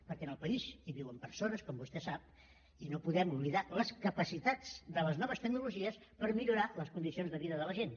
perquè en el país hi viuen persones com vostè sap i no podem oblidar les capacitats de les noves tecnologies per millorar les condicions de vida de la gent